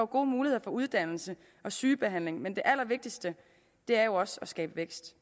gode muligheder for uddannelse og sygebehandling men det allervigtigste er jo også at skabe vækst